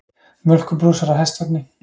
Mjólkurbrúsar á hestvagni.